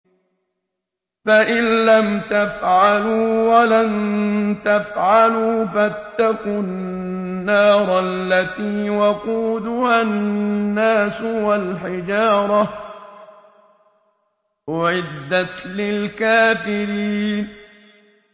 فَإِن لَّمْ تَفْعَلُوا وَلَن تَفْعَلُوا فَاتَّقُوا النَّارَ الَّتِي وَقُودُهَا النَّاسُ وَالْحِجَارَةُ ۖ أُعِدَّتْ لِلْكَافِرِينَ